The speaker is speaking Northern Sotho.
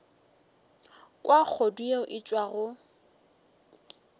kwa kgodu yeo e tšwago